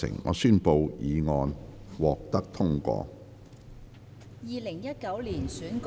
我宣布議案獲得通過。